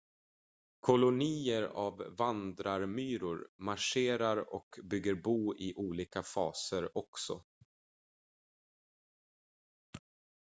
kolonier av vandrarmyror marscherar och bygger bo i olika faser också